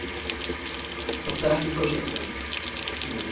Hótaði ekki forsetanum